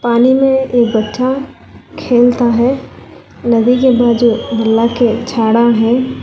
पानी में एक बच्चा खेलता है नदी के बाद जो है।